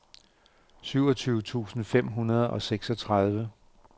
syvogtyve tusind fem hundrede og seksogtredive